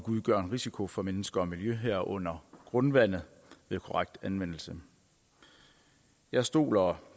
udgør en risiko for mennesker og miljø herunder grundvandet ved korrekt anvendelse jeg stoler